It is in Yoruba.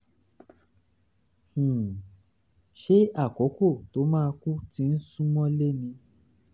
um ṣé àkókò tó máa kú ti ń sún mọ́lé ni?